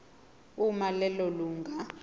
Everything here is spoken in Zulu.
uma lelo lunga